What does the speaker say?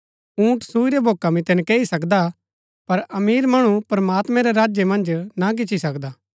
ऊंट सुई रै भोका मितै नकैई सकदा पर अमीर मणु प्रमात्मां रै राज्य मन्ज ना गिच्ची सकदा